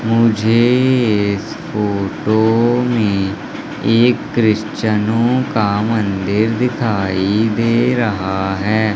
मुझे इस फोटो में एक क्रिश्चनों का मंदिर दिखाई दे रहा है।